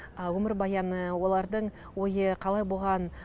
өмірбаяны олардың ойы қалай болған